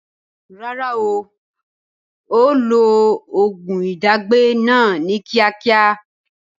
Rárá, ó ó lo oògùn ìdágbẹ́ náà ni kíákíá